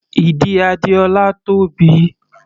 Ìdí Adéọlá tóbi.